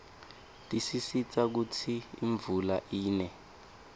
tisisita kutsi imvula ine